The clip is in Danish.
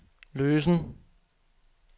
løsen